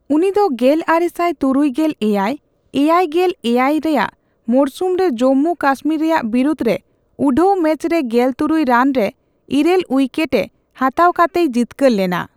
ᱩᱱᱤᱫᱚ ᱜᱮᱞᱟᱨᱮᱥᱟᱭ ᱛᱩᱨᱩᱭᱜᱮᱞ ᱮᱭᱟᱭ ᱼᱮᱭᱟᱭ ᱜᱮᱞ ᱮᱭᱟᱭ ᱨᱮᱭᱟᱜ ᱢᱚᱨᱥᱩᱢᱨᱮ ᱡᱚᱢᱢᱩᱼᱠᱚᱥᱢᱤᱨ ᱨᱮᱭᱟᱜ ᱵᱤᱨᱩᱫᱽ ᱨᱮ ᱩᱰᱷᱟᱹᱣ ᱢᱮᱪ ᱨᱮ ᱜᱮᱞ ᱛᱩᱨᱩᱭ ᱨᱟᱱ ᱨᱮ ᱤᱨᱟᱹᱞ ᱩᱭᱠᱮᱴᱮ ᱦᱟᱛᱟᱣ ᱠᱟᱛᱮᱭ ᱡᱤᱛᱠᱟᱹᱨ ᱞᱮᱱᱟ ᱾